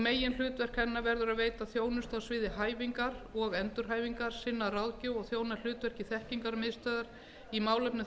meginhlutverk hennar verður að veita þjónustu á sviði hæfingar og endurhæfingar auk þess að þjóna hlutverki þekkingarmiðstöðvar í málefnum